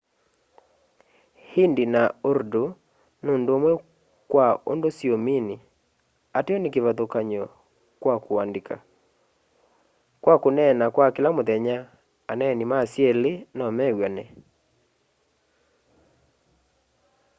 hindi na urdu nundumwe kwa undu siumini ateo ni kivathukany'o kwa kuandika kwa kuneena kwa kila muthenya aneeni ma syeli nomew'ane